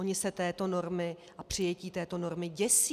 Oni se této normy a přijetí této normy děsí.